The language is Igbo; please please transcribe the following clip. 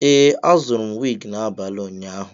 Ee, azụrụ m wig n'abalị ụnyaahụ.